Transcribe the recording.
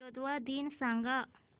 Moldova दिन सांगा